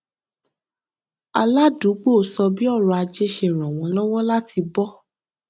aládùúgbò sọ bí ọrọ ajé ṣe ràn wọn lọwọ láti bọ